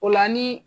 O la ni